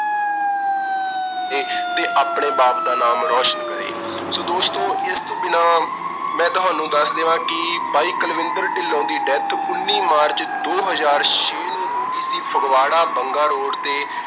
ਇਹ ਤੇ ਆਪਣੇ ਬਾਪ ਦਾ ਨਾਮ ਰੌਸ਼ਨ ਕਰੇ, so ਦੋਸਤੋ ਇਸ ਤੋਂ ਬਿਨਾਂ ਮੈਂ ਤੁਹਾਨੂੰ ਦੱਸ ਦੇਵਾਂ ਕਿ ਬਾਈ ਕੁਲਵਿੰਦਰ ਢਿੱਲੋਂ ਦੀ death ਉਨੀ ਮਾਰਚ, ਦੋ ਹਜ਼ਾਰ ਛੇ ਨੂੰ ਹੋ ਗਈ ਸੀ, ਫਗਵਾੜਾ ਬੰਗਾ road ਤੇ